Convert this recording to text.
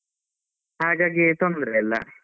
ಹಾಗಾಗಿ ತೊಂದ್ರೆ ಇಲ್ಲ.